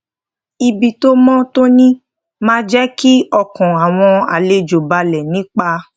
ibi tó mó tóní máa jé kí ọkàn àwọn àlejò balè nípa